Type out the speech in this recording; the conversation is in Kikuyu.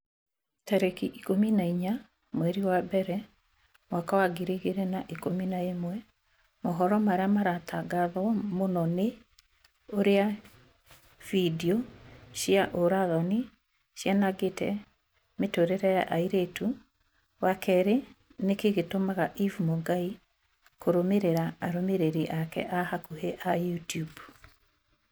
tarĩki ikũmi na inya mweri wa mbere mwaka wa ngiri igĩrĩ na ikũmi na ĩmwe mohoro marĩa maratangatwo mũno ni ũrĩa findio cia ũũra-thoni cianangĩte mĩtũrĩre ya airĩtu wa kerĩ nĩkĩĩ gĩtũmaga eve mũngai kũrũmĩrĩra arũmĩrĩri ake a hakuhi a YouTUBE